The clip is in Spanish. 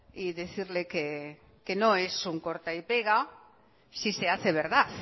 y decirle que no es un corta y pega si se hace verdad